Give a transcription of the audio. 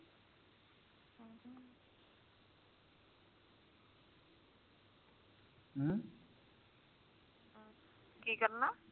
ਕੀ ਕਰਨਾ